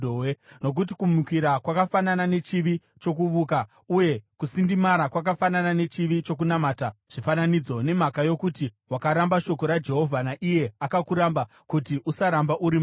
Nokuti kumukira kwakafanana nechivi chokuvuka, uye kusindimara kwakafanana nechivi chokunamata zvifananidzo. Nemhaka yokuti wakaramba shoko raJehovha, naiye akuramba kuti usaramba uri mambo.”